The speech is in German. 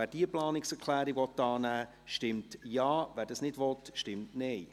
Wer diese Planungserklärung annehmen will, stimmt Ja, wer dies nicht will, stimmt Nein.